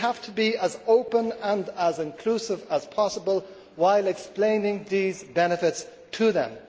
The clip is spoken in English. We have to be as open and as inclusive as possible while explaining these benefits to them.